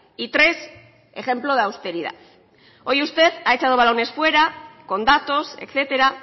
y tres ejemplo de austeridad hoy usted ha echado balones fuera con datos etcétera